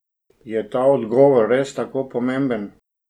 Je ta odgovor res tako pomemben?